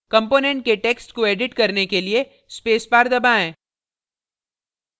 component के text को edit करने के लिए space bar दबाएँ